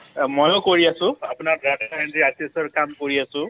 মইও কৰি আছোঁ আপোনাৰ কাম কৰি আছোঁ